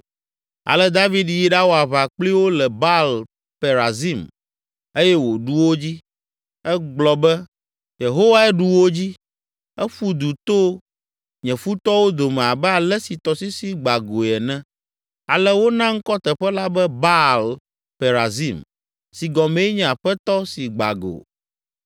Ale David yi ɖawɔ aʋa kpli wo le Baal Perazim eye wòɖu wo dzi. Egblɔ be, “Yehowae ɖu wo dzi; eƒu du to nye futɔwo dome abe ale si tɔsisi gba goe ene.” Ale wona ŋkɔ teƒe la be Baal Perazim si gɔmee nye “Aƒetɔ si gba go.”